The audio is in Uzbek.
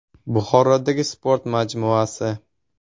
Buxorodagi sport majmuasi.